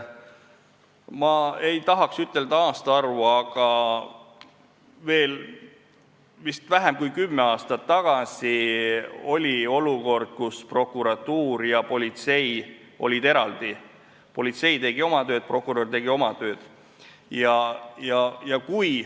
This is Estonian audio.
Ma ei tahaks ütelda aastaarvu, aga vist vähem kui kümme aastat tagasi oli olukord, kus prokuratuur ja politsei olid eraldi: politsei tegi oma tööd, prokurör tegi oma tööd.